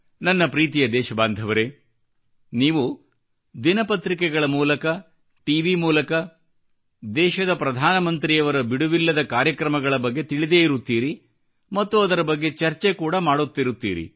ನನ್ನ ಪ್ರೀತಿಯ ದೇಶಬಾಂಧವರೇ ನೀವು ದಿನಪತ್ರಿಕೆಗಳ ಮೂಲಕ ಟಿವಿ ಮೂಲಕ ದೇಶದ ಪ್ರದಾನಮಂತ್ರಿಯವರ ಬಿಡುವಿಲ್ಲದ ಕಾರ್ಯಕ್ರಮಗಳ ಬಗ್ಗೆ ತಿಳಿದೇ ಇರುತ್ತೀರಿ ಮತ್ತು ಅದರ ಬಗ್ಗೆ ಚರ್ಚೆ ಕೂಡಾ ಮಾಡುತ್ತಿರುತ್ತೀರಿ